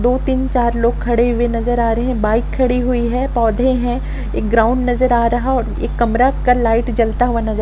मैं दो-तीन चार लोग खड़े हुए नजर आ रहे हैं बाइक खड़ी हुई है पौधे हैं एक ग्राउंड नजर आ रहा है एक कमरा का लाइट जलता हुआ नजर--